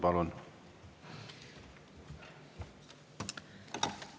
Palun!